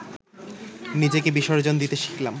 নিজেকে বিসর্জন দিতে শিখলাম